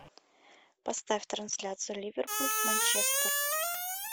поставь трансляцию ливерпуль манчестер